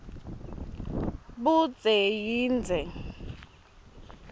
budze yindze